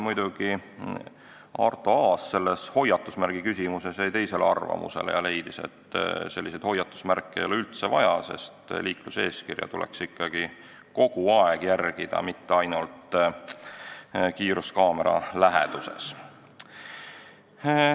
Arto Aas jäi hoiatusmärgi küsimuses teisele arvamusele ja leidis, et selliseid hoiatusmärke ei ole üldse vaja, sest liikluseeskirja tuleks ikkagi kogu aeg järgida, mitte ainult kiiruskaamera läheduses.